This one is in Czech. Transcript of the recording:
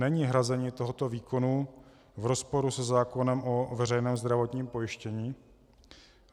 Není hrazení tohoto výkonu v rozporu se zákonem o veřejném zdravotním pojištění?